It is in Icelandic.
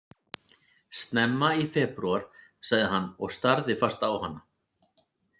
Snemma í febrúar, sagði hann og starði fast á hana.